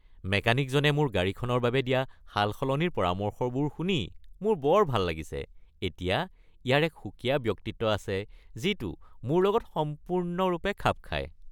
মেকানিকজনে মোৰ গাড়ীখনৰ বাবে দিয়া সালসলনিৰ পৰামৰ্শবোৰ শুনি মোৰ বৰ ভাল লাগিছে। এতিয়া ইয়াৰ এক সুকীয়া ব্যক্তিত্ব আছে যিটো মোৰ লগত সম্পূৰ্ণৰূপে খাপ খায়।